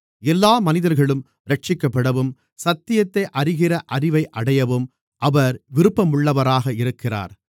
எல்லா மனிதர்களும் இரட்சிக்கப்படவும் சத்தியத்தை அறிகிற அறிவை அடையவும் அவர் விருப்பமுள்ளவராக இருக்கிறார்